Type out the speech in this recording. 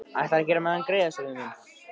Ætlarðu að gera mér þennan greiða, Sæmi minn?